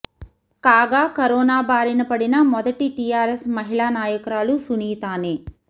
కాగా కరోనా బారిన పడిన మొదటి టీఆర్ఎస్ మహిళా నాయకురాలు సునీతానే